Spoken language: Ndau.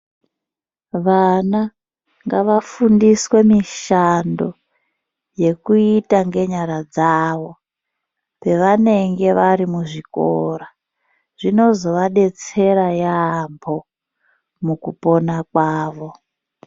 Vana ngavafundiswe mishando yekuita ngenyara dzavo pevanenge vari muzvikora zvino zovadetsera yaampho mukupona kwavo.